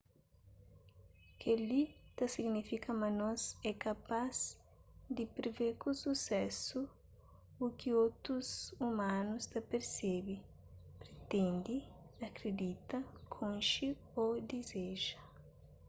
kel-li ta signifika ma nos é kapaz di privê ku susésu u ki otus umanus ta persebe pritende akridita konxe ô dizeja